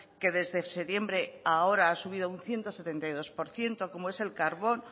que desde septiembre ahora ha subido un ciento setenta y dos por ciento como es el carbón